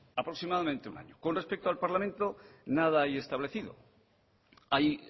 aproximadamente un año con respeto al parlamento nada hay establecido hay